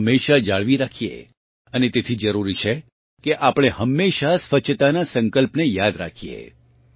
તેને હમેશા જાળવી રાખએ અને તેથી જરૂરી છે કે આપણે હમેશા સ્વચ્છતાનાં સંકલ્પને યાદ રાખીએ